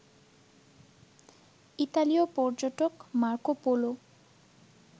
ইতালিয় পর্যটক মার্কোপোলো